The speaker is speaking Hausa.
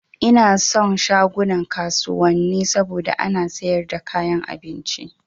Ina son shagunan kasuwanni saboda ana sayar da kayan abinci